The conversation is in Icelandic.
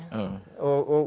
og